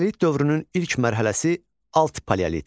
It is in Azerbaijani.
Paleolit dövrünün ilk mərhələsi alt paleolit.